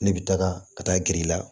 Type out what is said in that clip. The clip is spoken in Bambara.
Ne bɛ taga ka taa gr'i la